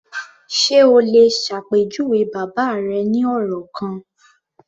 Ṣe o lè ṣàpèjúwe bàbá rẹ ní ọ̀rọ̀ kan?